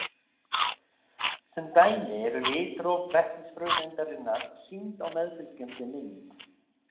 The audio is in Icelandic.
Sem dæmi eru litróf vetnisfrumeindarinnar sýnd á meðfylgjandi mynd.